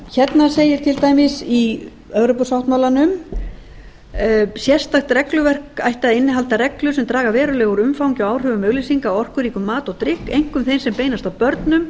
hérna segir til dæmis í evrópusáttmálanum sérstakt regluverk ætti að innihalda reglur sem draga verulega úr umfangi og áhrifum auglýsinga á orkuríkum mat og drykk einkum þeim sem beinast að börnum